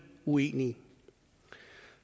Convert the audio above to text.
uenig